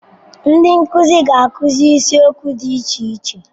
Ndị nkuzi ga-akụzi isiokwu dị iche iche.